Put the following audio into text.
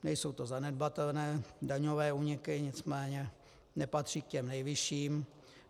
Nejsou to zanedbatelné daňové úniky, nicméně nepatří k těm nejvyšším.